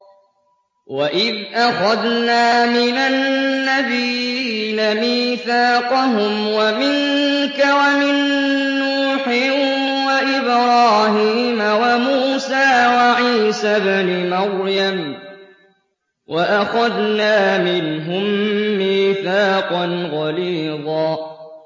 وَإِذْ أَخَذْنَا مِنَ النَّبِيِّينَ مِيثَاقَهُمْ وَمِنكَ وَمِن نُّوحٍ وَإِبْرَاهِيمَ وَمُوسَىٰ وَعِيسَى ابْنِ مَرْيَمَ ۖ وَأَخَذْنَا مِنْهُم مِّيثَاقًا غَلِيظًا